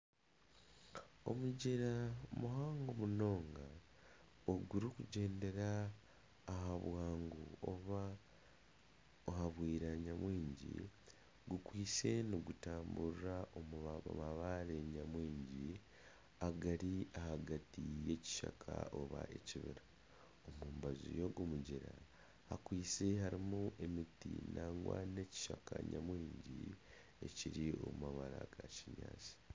Omugyera muhango munonga ogurikugyendera aha buhango obwa, aha bwiranga bwingi. Gukwaitse nigutamburira omu mabaare nyamwingi agari ahagati y'ekishaka oba ekibira. Omu mbaju y'ogu mugyera hakwaitse harimu emiti n'ekishaka nyamwingi ekiri omu mabara ga kinyaatsi.